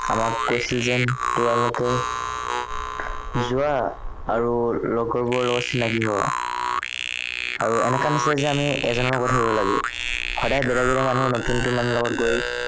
আমাক কৈছে যেন তোমালোকে যোৱা আৰু লগৰবোৰৰ লগত চিনাকি হোৱা আৰু এনেকুৱা নিচিনা যে আমি এজনৰ লগতহে হব লাগে সদায় বেলেগ বেলেগ মানুহৰ লগত ধৰি ইটো সিটো মানুহৰ লগত গৈ